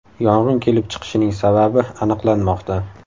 Yong‘in kelib chiqishining sababi aniqlanmoqda.